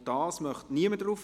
– Das ist nicht der Fall.